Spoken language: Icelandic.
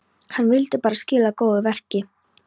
Hann vildi bara skila góðu verki.